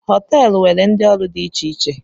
Họteelu nwere ndị ọrụ dị iche iche